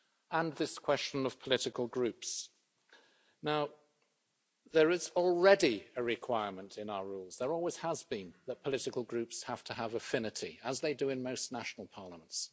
On this question of political groups, there is already a requirement in our rules there always has been that political groups have to have affinity, as they do in most national parliaments.